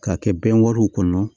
K'a kɛ bɛn wariw kɔnɔ